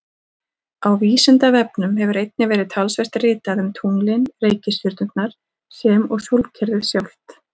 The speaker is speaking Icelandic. Á Vísindavefnum hefur einnig verið talsvert ritað um tunglin, reikistjörnurnar sem og sólkerfið sjálft.